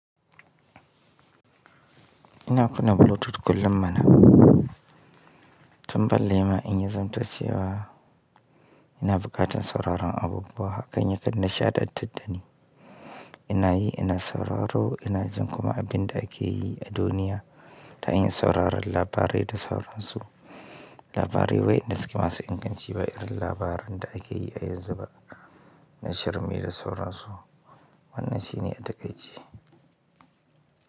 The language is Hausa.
Ina kuna Bluetooth kullum mana. Tun ballema in ya zamto cewa ina buƙatan sauraron abubuwa, hakan yakan nishaɗantar da ni. Inayi ina sauraro ina jin kuma abinda akeyi a duniya ta hanyar sauraron labarai da sauransu labarai wa'inda suke masu inganci ba irin labaran da ake yi a yanzu ba na shirme da sauransu. Wannan shi ne a taƙai ce.